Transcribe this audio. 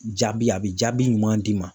Jaabi ,a bɛ jaabi ɲuman d'i ma.